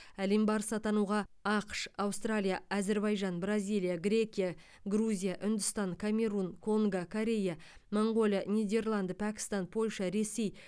әлем барысы атануға ақш аустралия әзербайжан бразилия грекия грузия үндістан камерун конго корея моңғолия нидерланды пәкістан польша ресей